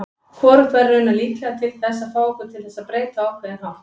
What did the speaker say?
Hvorugt væri raunar líklega til þess að fá okkur til þess breyta á ákveðinn hátt.